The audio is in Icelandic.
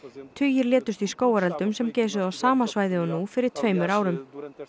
tugir létust í skógareldum sem geisuðu á sama svæði og nú fyrir tveimur árum